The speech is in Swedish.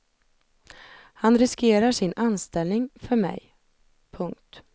Han riskerar sin anställning för mig. punkt